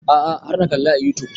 A'a har na kalla a youtube